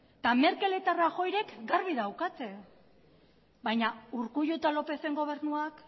merkel eta rajoyk garbi daukate baina urkullu eta lópezen gobernuak